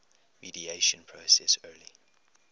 mediation process early